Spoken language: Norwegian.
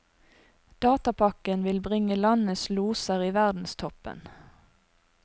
Datapakken vil bringe landets loser i verdenstoppen.